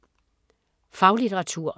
Faglitteratur